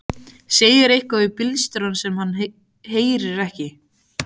Segir eitthvað við bílstjórann sem hann heyrir ekki.